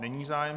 Není zájem.